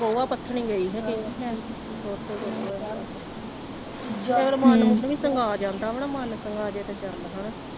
ਗੋਹਾ ਪਥਨ ਗਈ ਹਾਂ ਕਹਿੰਦੀ ਸ਼ਾਇਦ ਕਈ ਵਾਰੀ ਮਨ ਮੁੰਨ ਵੀ ਸੰਗਾ ਜਾਂਦਾ ਵਾ ਨਾ ਮੰਨ ਸੰਗਾ ਜੇ ਤੇ ਚਲ ਹੈਨਾ।